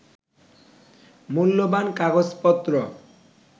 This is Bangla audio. মূল্যবান কাগজপত্র